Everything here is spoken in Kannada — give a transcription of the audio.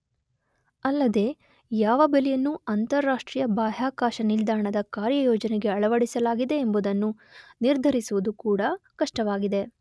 ಅಲ್ಲದೇ ಯಾವ ಬೆಲೆಯನ್ನು ಅಂತರರಾಷ್ಟ್ರೀಯ ಬಾಹ್ಯಾಕಾಶ ನಿಲ್ದಾಣದ ಕಾರ್ಯಯೋಜನೆಗೆ ಅಳವಡಿಸಲಾಗಿದೆ ಎಂಬುದನ್ನು ನಿರ್ಧರಿಸುವುದು ಕೂಡ ಕಷ್ಟವಾಗಿದೆ